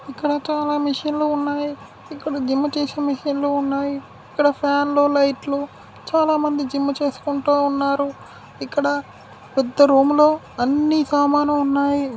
ఇక్కడ చాలా మెషిన్ లు ఉన్నాయి. ఇక్కడ జిమ్ చేసే మెషిన్ లు ఉన్నాయి ఇక్కడ ఫ్యాన్ లు లైట్ లు చాలా మంది జిమ్ చేసుకుంటూ ఉన్నారు. ఇక్కడ పెద్ద రూమ్ లో అన్ని సామానులు ఉన్నాయి.